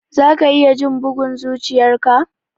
Za ka iya jin bugun zuchiyar ka?